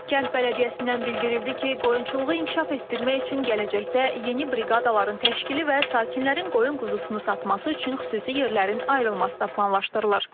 Kənd Bələdiyyəsindən bildirildi ki, qoyunçuluğu inkişaf etdirmək üçün gələcəkdə yeni briqadaların təşkili və sakinlərin qoyun quzusunu satması üçün xüsusi yerlərin ayrılması da planlaşdırılır.